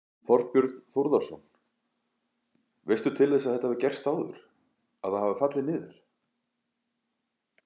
Þorbjörn Þórðarson: Veistu til þess að þetta hafi gerst áður, að það hafi fallið niður?